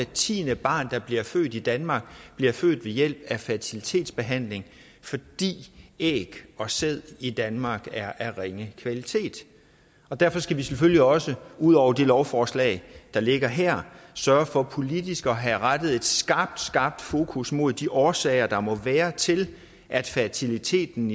tiende barn der bliver født i danmark bliver født ved hjælp af fertilitetsbehandling fordi æg og sæd i danmark er af ringe kvalitet derfor skal vi selvfølgelig også ud over det lovforslag der ligger her sørge for politisk at have rettet et skarpt skarpt fokus mod de årsager der må være til at fertiliteten